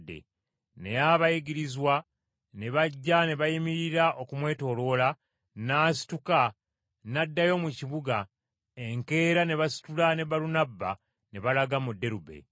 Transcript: Naye abayigirizwa ne bajja ne bayimirira okumwetooloola, n’asituka n’addayo mu kibuga! Enkeera ne basitula ne Balunabba ne balaga mu Derube.